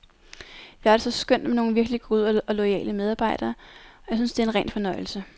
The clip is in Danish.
Vi har det så skønt med nogle virkelig gode og loyale medarbejdere, og jeg synes, det er en ren fornøjelse.